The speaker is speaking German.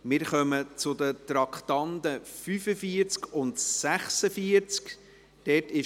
Wir kommen zu den Traktanden 45 und 46.